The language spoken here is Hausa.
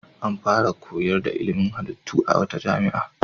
An fara koyar da ilimin halittu a wata jami'a.